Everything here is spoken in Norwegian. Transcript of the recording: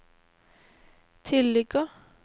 tilligger